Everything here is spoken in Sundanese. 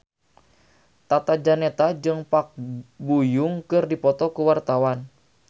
Tata Janeta jeung Park Bo Yung keur dipoto ku wartawan